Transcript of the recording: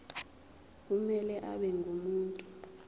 kumele abe ngumuntu